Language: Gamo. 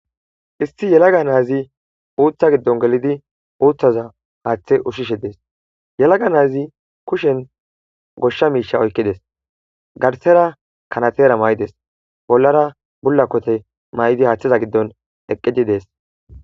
issi yelaga naazi uutha giddon gelidi uutthaza haaththe ushishe dees yelaga naazi kushen goshsha miisha oykkides garsera kanatera may7des bollara bullakote may7idi haaththiza giddon eqqidi dees